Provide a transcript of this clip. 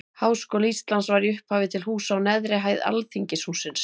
Háskóli Íslands var í upphafi til húsa á neðri hæð Alþingishússins.